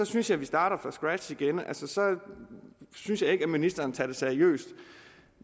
synes jeg vi starter fra scratch igen så synes jeg ikke at ministeren tager det seriøst